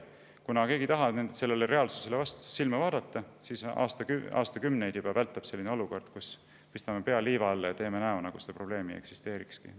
Kuna keegi ei taha sellele reaalsusele silma vaadata, siis juba aastakümneid vältab olukord, kus me pistame pea liiva alla ja teeme näo, nagu seda probleemi ei eksisteerikski.